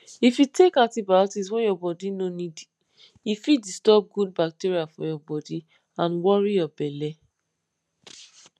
if you take antibiotics when body no need e fit disturb good bacteria for your body and worry your belle